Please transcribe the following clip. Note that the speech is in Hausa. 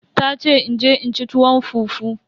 Tace in je in ci tuwo fufu.